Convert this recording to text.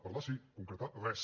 parlar sí concretar res